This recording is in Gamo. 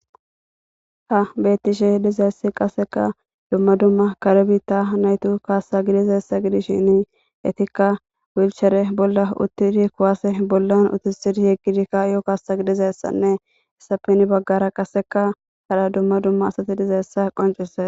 Ha beettishe dizaysi qasseka dumma dumma kare biitta hanaydo kaassa gidishin etikka wulchchere bolla uttidi kuwasse bolla uttisidi yeggidi ka'iyo kaassa gidizayssanne hessappe heni baggara qasse hara dumma dumma asati dizayssa qonccises.